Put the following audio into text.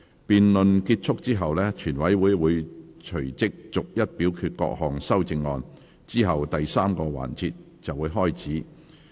辯論結束後，全委會會隨即逐一表決各項修正案，之後第三個環節便開始。